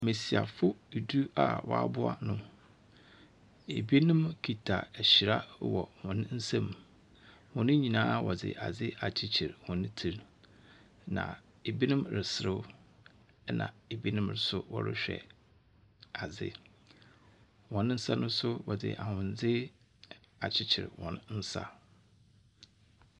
Mmasiafo edu a wɔaboa no. ebinom kita ahyira wɔ hɔn nsam. Hun nyinaa wɔde ade akyekyere hɔn ti. Na ebinom reserew na ebinom nso ɔrehwɛ adze. Hɔn nsa no nso wɔde ahwendze akyekyere hɔn nsa.